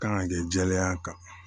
Kan ka kɛ jɛlenya kan